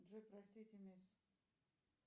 джой простите мисс